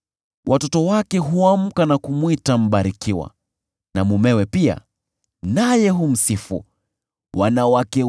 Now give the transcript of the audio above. Watoto wake huamka na kumwita aliyebarikiwa, mumewe pia humsifu, akisema: